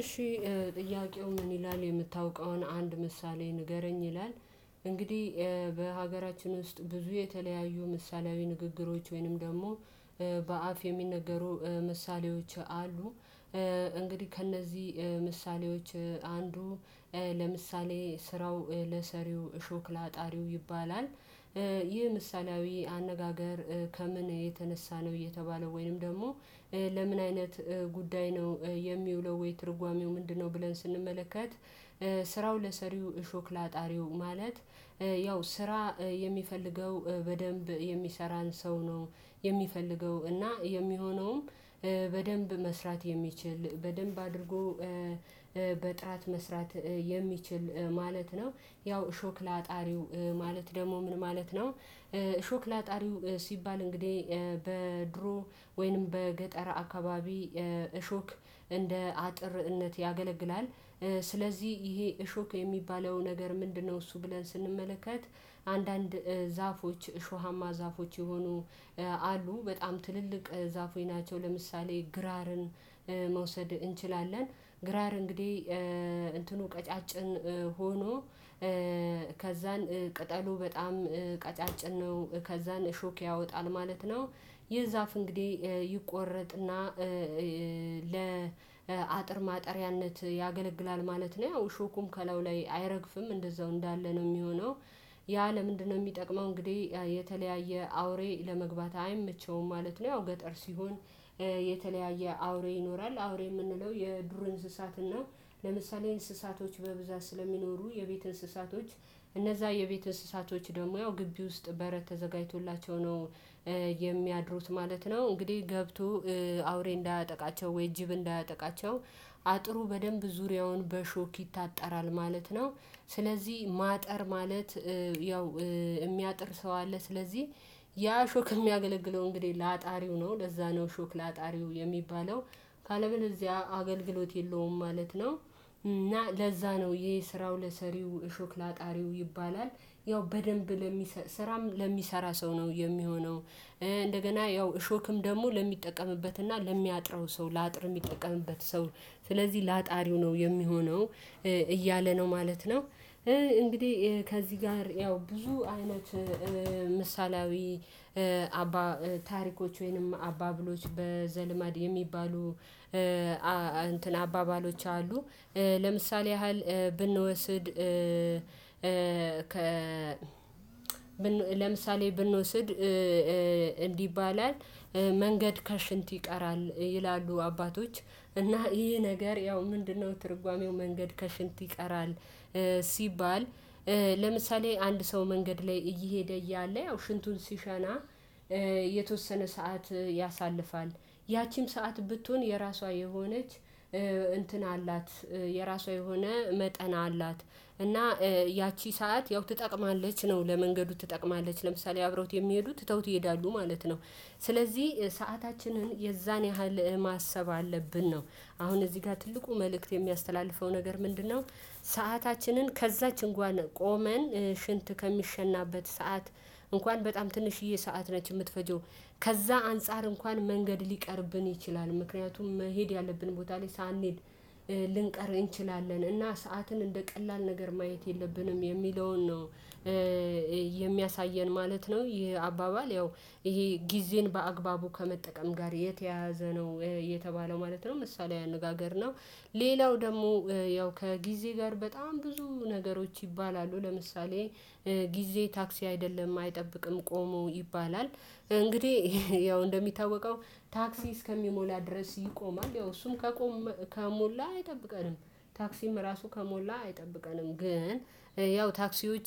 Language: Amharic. እሺ ጥያቄው ምን ይላል የምታውቀውን አንድ ምሳሌ ንገረኝ ይላል? እንግዲህ በሀገራችን ውስጥ ብዙ የተለያዩ ምሳሌያዊ ንግግሮች ወይንም ደግሞ በአፍ የሚነገሩ ምሳሌዎች አሉ። እንግዲህ ከእነዚህ ምሳሌዎች አንዱ ለምሳሌ ስራው ለሰሪው እሾክ ለአጣሪው ይባላል። ይህ ምሳሌያዊ አነጋገር ከምን የተነሳ ነው እየተባለ ወይንም ደግሞ ለምን አይነት ጉዳይ ነው የሚውለው ወይ ትርጓሜው ምንድነው ብለን ስንመለከት? ስራው ለሰሪው እሾክ ላጣሪው ማለት ያው ስራ የሚፈልገው በደንብ የሚሰራን ሰው ነው የሚፈልገው እና የሚሆነውም በደንብ መስራት የሚችል በደንብ አድርጎ በጥራት መስራት የሚችል ማለት ነው። ያው እሾክ ላጣሪው ማለት ደግሞ ምን ማለት ነው? እሾክ ላጣሪው ሲባል እንግዲህ በድሮ ወይንም በገጠር አካባቢ እሾክ እንደ አጥርነት ያገለግላል። ስለዚህ ይሄ እሾክ የሚባለው ነገር ምንድነው እሱ ብለን ስንመለከት። አንዳንድ ዛፎች እሾሃማ ዛፎች የሆኑ አሉ በጣም ትልልቅ ዛፎች ናቸው። ለምሳሌ ግራርን መውሰድ እንችላለን። ግራር እንግዲህ እንትኑ ቀጫጭን ሆኖ ከዛን ቅጠሉ በጣም ቀጫጭን ነው ከዛን እሾክ ያወጣል ማለት ነው። ይህ ዛፍ እንግዲህ ይቆረጥ እና ለአጥር ማጠሪያነት ያገለግላል ማለት ነው። ያው እሾኩም ከላዩ ላይ አይረግፍም እንደዛው እንዳለ ነው ሚሆነው። ያ ለምንድነው ሚጠቅመው እንግዲህ የተለያየ አውሬ ለመግባት አይመቸውም ማለት ነው። ያው ገጠር ሲሆን የተለያየ አውሬ ይኖራል አውሬ የምንለው የዱር እንስሳትን ነው። ለምሳሌ እንስሳቶች በብዛት ስለሚኖሩ የቤት እንስሳቶች እነዛ የቤት እንስሳቶች ደግሞ ያው ግቢ ውስጥ በረት ተዘጋጅቶላቸው ነው የሚያድሩት ማለት ነው። እንግዲህ ገብቶ አውሬ እንዳያጠቃቸው ወይ ጅብ እንዳያጠቃቸው አጥሩ በደንብ ዙሪያውን በእሾክ ይታጠራል ማለት ነው። ስለዚህ ማጠር ማለት ያው እሚያጥር ሰው አለ ስለዚህ ያ እሾክ እሚያገለግለው እንግዲህ ለአጣሪው ነው ለዛ ነው እሾክ ለአጣሪው የሚባለው። ካለበለዚያ አገልግሎት የለውም ማለት ነው። እና ለዛ ነው ይሄ ስራው ለሰሪው እሾክ ላጣሪው ይባላል። ያው በደንብ ለሚሰ ስራም ለሚሰራ ሰው ነው የሚሆነው። እንደገና ያው እሾክም ደግሞ ለሚጠቀምበት እና ለሚያጥረው ሰው ለአጥር እሚጠቀምበት ሰው ስለዚህ ላጣሪው ነው የሚሆነው። እያለ ነው ማለት ነው። እንግዲህ ከዚህ ጋር ያው ብዙ አይነት ምሳሌያዊ አባ ታሪኮች ወይንም አባብሎች በዘልማድ የሚባሉ አ እንትን አባባሎች አሉ። ለምሳሌ ያህል ብንወስድ ለምሳሌ ብንወስድ እንዲ ይባላል። መንገድ ከሽንት ይቀራል ይላሉ አባቶች እና ይሄ ነገር ያው ምንድነው ትርጓሜው መንገድ ከሽንት ይቀራል። ሲባል ለምሳሌ አንድ ሰው መንገድ ላይ እየሄደ እያለ ያው ሽንቱን ሲሸና የተወሰነ ሰዓት ያሳልፋል ያቺም ሰዓት ብትሆን የራሷ የሆነች እንትን አላት የራሷ የሆነ መጠን አላት እና ያቺ ሰዓት ያው ትጠቅማለች ነው ለመንገዱ ትጠቅማለች ለምሳሌ አብረውት የሚሄዱት ትተውት ይሄዳሉ ማለት ነው። ስለዚህ ሰአታችንን የዛን ያህል ማሰብ አለብን ነው። አሁን እዚህ ጋር ትልቁ መልእክት የሚያስተላልፈው ነገር ምንድነው? ሰአታችንን ከዛች እንኳን ቆመን ሽንት ከሚሸናበት ሰዓት እንኳን በጣም ትንሽዬ ሰዓት ነች እምትፈጀው ከዛ አንፃር እንኳን መንገድ ሊቀርብን ይችላል ምክንያቱም መሄድ ያለብን ቦታ ላይ ሳንሄድ ልንቀር እንችላለን እና ሰዓትን እንደ ቀላል ነገር ማየት የለብንም የሚለውን ነው የሚያሳየን ማለት ነው። ይሄ አባባል ያው ይሄ ጊዜን በአግባቡ ከመጠቀም ጋር የተያያዘ ነው የተባለው ማለት ነው ምሳሌያዊ አነጋገር ነው። ሌላው ደግሞ ያው ከጊዜ ጋር በጣም ብዙ ነገሮች ይባላሉ ለምሳሌ ጊዜ ታክሲ አይደለም አይጠብቅም ቆሞ ይባላል እንግዲህ ያው እንደሚታወቀው ታክሲ እስከሚሞላ ድረስ ይቆማል ያው እሱም ከቆመ ከሞላ አይጠብቀንም ታክሲም እራሱ ከሞላ አይጠብቀንም ግን ያው ታክሲዎች